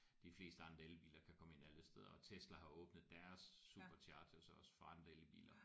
De fleste andre elbiler kan komme ind alle steder og Tesla har åbnet deres Superchargers også for andre elbiler